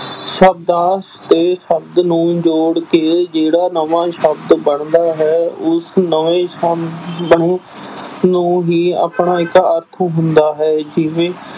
ਸ਼ਬਦਾਂ ਤੇ ਸ਼ਬਦ ਨੂੰ ਜੋੜ ਕੇ ਜਿਹੜਾ ਨਵਾਂ ਸ਼ਬਦ ਬਣਦਾ ਹੈ ਉਸ ਨਵੇਂ ਸ਼ਬ ਅਹ ਸ਼ਬਦ ਨੂੰ ਹੀ ਆਪਣਾ ਇੱਕ ਅਰਥ ਹੁੰਦਾ ਹੈ ਜਿਵੇਂ